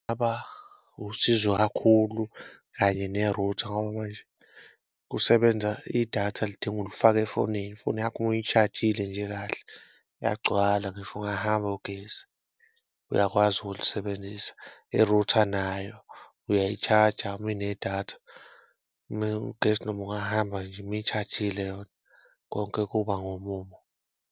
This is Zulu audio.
Baba usizo kakhulu kanye ne-router ngoba manje kusebenza idatha lidinga ulifake efonini, ifoni yakho uma uyi-charge-ile nje kahle yagcwala ngisho ungahamba ugesi uyakwazi ukulisebenzisa. I-router nayo uyayi-charger uma inedatha ugesi noma ungahamba nje uma i-charge-ile yona konke kuba ngomumo.